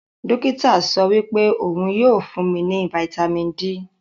Dokita sowipe ohun yoo fun mi ni Fítàmì D.